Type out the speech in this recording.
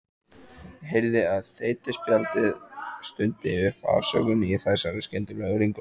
Heyrði að þeytispjaldið stundi upp afsökun í þessari skyndilegu ringulreið.